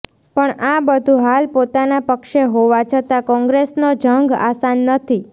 પણ આ બધું હાલ પોતાના પક્ષે હોવા છતાં કોંગ્રેસનો જંગ આસાન નથી